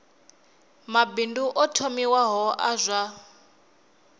mabindu o thomiwaho a zwa